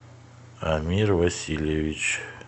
амир васильевич